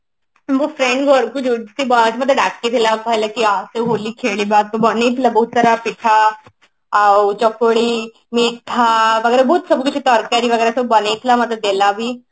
ମୋ friend ଡ଼ାକିଥିଲା କହିଲା କି ଆସେ ହୋଲି ଖେଳିବା ତୁ ବନେଇଥିଲା ବହୁତ ସାରା ପିଠା ଆଉ ଚକୁଳି ମିଠା ତା ପରେ ବହୁତ ସବୁକିଛି ତରକାରି ବଗେରା ବନେଇଥିଲା ମତେ ଦେଲା ବି